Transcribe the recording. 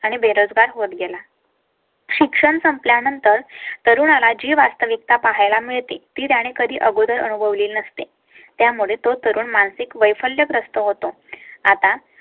आणि बेरोजगार होत गेला. शिक्षण संपल्या नंतर तरुणा ला जी वास्तविकता पाहायला मिळते ती त्याने कधी अगोदर अनुभवली नसते. त्यामुळे तो तरुण मानसिक वैफल्यग्रस्त होतो. आता